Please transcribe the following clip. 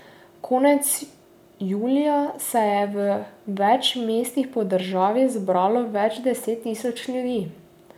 Konec julija se je v več mestih po državi zbralo več deset tisoč ljudi.